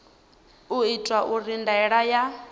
u itwa uri ndaela ya